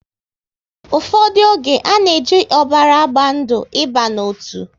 Ụfọdụ oge, a na e ji ọbara agba ndụ ị ba n'otu